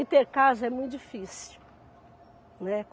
E ter casa é muito difícil né.